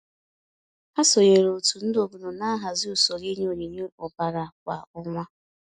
Ha sonyeere òtù ndị obodo na-ahazị usoro inye onyinye ọbara kwa ọnwa.